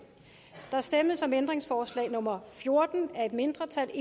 der stemmes om ændringsforslag nummer fjorten af et mindretal